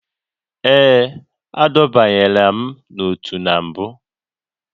Ee, adọbanyela m n'otu na mbụ